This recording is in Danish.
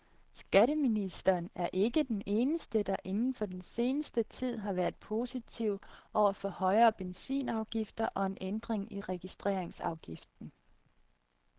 Skatteministeren er ikke den eneste, der inden for den seneste tid har været positiv over for højere benzinafgifter og en ændring i registreringsafgiften.